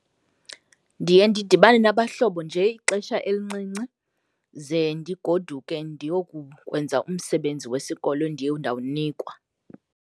Ndiye ndidibane nabahlono nje ixesha elincinci ze ndigoduke ndiyokukwenza umsebenzi wesikolo endiye ndawunikwa.